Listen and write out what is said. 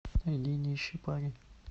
найди нищий парень